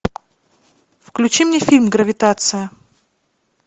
включи мне фильм гравитация